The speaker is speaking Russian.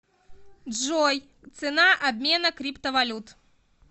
джой цена обмена криптовалют